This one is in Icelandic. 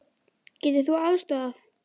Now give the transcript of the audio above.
Getur þú aðstoðað?